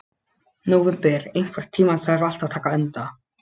Nóvember, einhvern tímann þarf allt að taka enda.